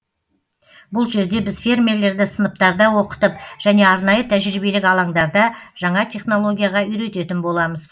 бұл жерде біз фермерлерді сыныптарда оқытып және арнайы тәжіриеблік алаңдарда жаңа технологияға үйрететін боламыз